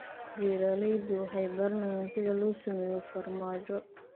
Beeraleydu waxay baranayaan sida loo sameeyo farmaajo.